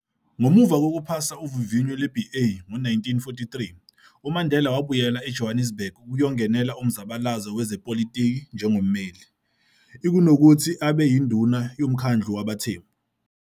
Ngomu a kokuphasa uvivinyo lwe-BA ngo-1943, uMandela wabuyela eJohannesburg ukuyongenela umzabalazo wezepolitiki njengommeli, ikunokuthi abe yinduna yomkhandlu wabaThembu.